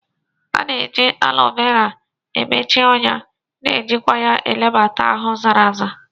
A na-eji Alo Vera emechi ọnya na ejikwa ya ebelata ahụ zara aza.